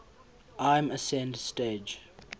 lm ascent stage